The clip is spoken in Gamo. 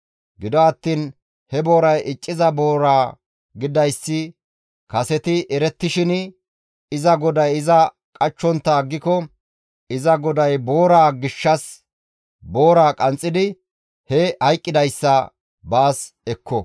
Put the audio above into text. Gido attiin he booray icciza boora gididayssi kaseti erettishin, iza goday iza qachchontta aggiko, iza goday booraa gishshas boora qanxxidi he hayqqidayssa baas ekko.